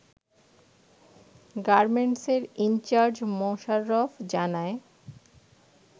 গার্মেন্টেসের in charge Mosharraf জানায়